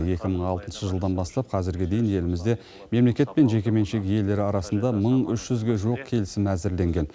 екі мың алтыншы жылдан бастап қазірге дейін елімізде мемлекет пен жекеменшік иелері арасында мың үш жүзге жуық келісім әзірленген